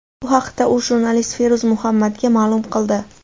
Bu haqda u jurnalist Feruz Muhammadga ma’lum qildi.